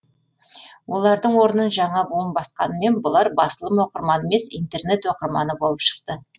олардың орнын жаңа буын басқанымен бұлар басылым оқырманы емес интернет оқырманы болып шықты